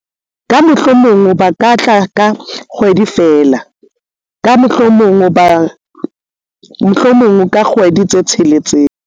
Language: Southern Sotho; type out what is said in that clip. ka mohlomong ba ka tla ka kgwedi feela, ka mohlomong ka kgwedi tse tsheletseng